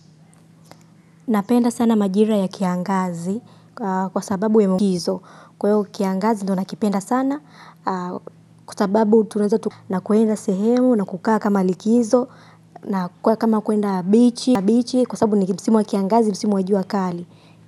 Napenda sana majira ya kiangazi kwa sababu ya mkizo. Kwa hiyo kiangazi ndio nakipenda sana kwa sababu tunaweza na kuenda sehemu na kukaa kama likizo na kuwa kama kuenda bichi kwa sababu ni msimu wa kiangazi ni msimu wa jua kali.